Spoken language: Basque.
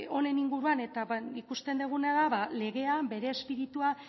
honen inguruan eta ikusten duguna da ba legea bere espiritua